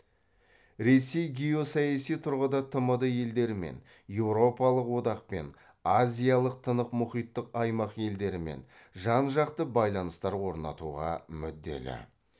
ресей геосаяси тұрғыда тмд елдерімен еуропалық одақпен азиялық тынық мұхиттық аймақ елдерімен жан жақты байланыстар орнатуға мүдделі